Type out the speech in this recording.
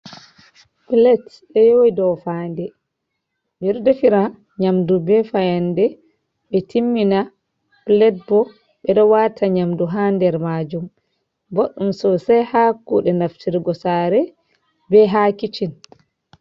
pilet ɗo yowi do faade, ɓeɗo defira nyamdu be fayande ɓe timmina, pilet bo ɓeɗo wata nyamdu ha nder majum, boɗɗm sosai ha kuɗe naftirgo sare be ha kicin.